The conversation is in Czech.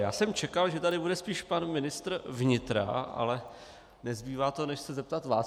Já jsem čekal, že tady bude spíš pan ministr vnitra, ale nezbývá to, než se zeptat vás.